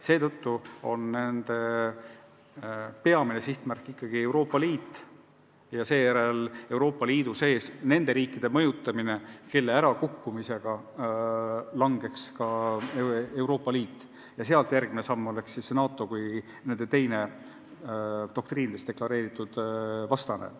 Seetõttu on Moskva peamine sihtmärk ikkagi Euroopa Liit ja seejärel Euroopa Liidu sees nende riikide mõjutamine, kelle ärakukkumisega langeks ka Euroopa Liit ja sealt järgmine oleks siis NATO kui nende teine doktriinides deklareeritud vastane.